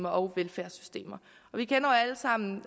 og velfærdssystemer vi kender alle sammen